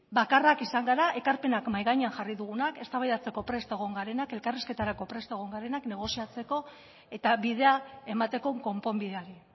bakarrak izan gara ekarpenak mahai gainean jarri dugunak eztabaidatzeko prest egon garenak elkarrizketarako prest egon garenak negoziatzeko eta bidea emateko konponbideari